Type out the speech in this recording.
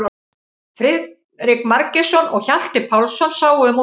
Friðrik Margeirsson og Hjalti Pálsson sáu um útgáfuna.